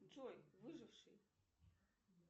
джой выживший